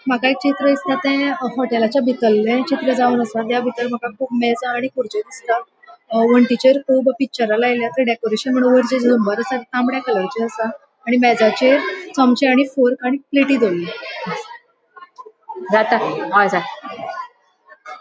माका एक चित्र दिसत ते होटलाच्या बितरले चित्र जावन आसा. थ्य बितर माका मेज आणि खुरचो दिसत वनटीचेर कुब पिक्चर लायल्या डकोरैशन वयर तामड़े कलरचे आसा आणि मेजाचेर चमचे आणि फोर्क आणि प्लेटी दोवोरल्या --